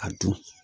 A dun